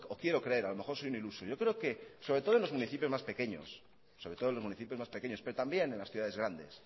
cuando o quiero creer a lo mejor soy un iluso yo creo que sobre todo en los municipios más pequeños pero también en las ciudades grandes